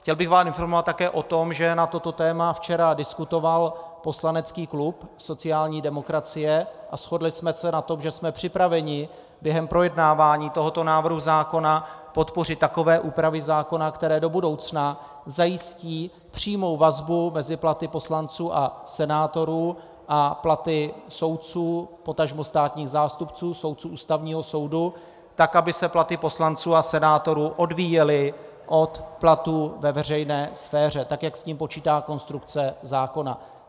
Chtěl bych vás informovat také o tom, že na toto téma včera diskutoval poslanecký klub sociální demokracie a shodli jsme se na tom, že jsme připraveni během projednávání tohoto návrhu zákona podpořit takové úpravy zákona, které do budoucna zajistí přímou vazbu mezi platy poslanců a senátorů a platy soudců, potažmo státních zástupců, soudců Ústavního soudu, tak aby se platy poslanců a senátorů odvíjely od platů ve veřejné sféře, tak jak s tím počítá konstrukce zákona.